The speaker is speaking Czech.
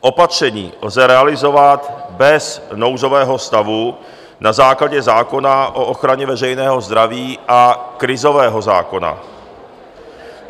Opatření lze realizovat bez nouzového stavu na základě zákona o ochraně veřejného zdraví a krizového zákona.